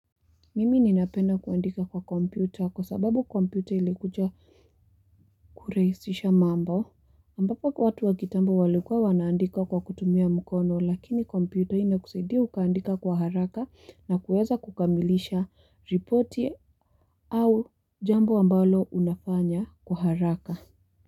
Mimi ninapenda kuandika kwa kompyuta kwa sababu kompyuta ilikuja kurahisisha mambo ambapo kwa watu wa kitambo walikuwa wanaandika kwa kutumia mkono lakini kompyuta inakusaidia ukaandika kwa haraka na kuweza kukamilisha ripoti au jambo ambalo unafanya kwa haraka.